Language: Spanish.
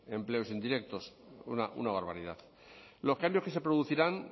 empleos indirectos una barbaridad los cambios que se producirán